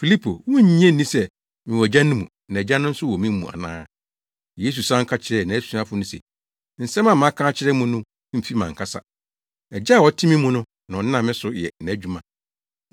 Filipo wunnye nni sɛ mewɔ Agya no mu na Agya no nso wɔ me mu ana? Yesu san ka kyerɛɛ nʼasuafo no se, nsɛm a maka akyerɛ mo no mfi mʼankasa. Agya a ɔte me mu no na ɔnam me so yɛ nʼadwuma.